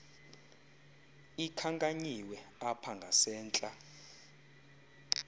ikhankanyiwe apha ngasentla